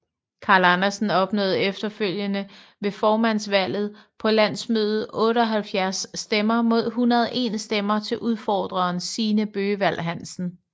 Carl Andersen opnåede efterfølgende ved formandsvalget på landsmødet 78 stemmer mod 101 stemmer til udfordreren Signe Bøgevald Hansen